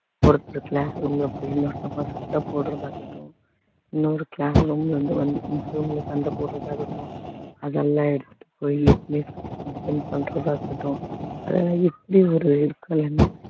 ஒருத்தர் class room ல போயி சண்டை போடுறதாகட்டும் இன்னொரு class room ல வந்து இங்க சண்டை போடுறதாகட்டும் அதெல்லாம் எடுத்துட்டு போய் head mistress கிட்ட compliant பண்றதா இருக்கட்டும் அதெல்லாம் எப்படி ஒரு இருக்குல்லைங்க